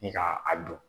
Ni ka a dun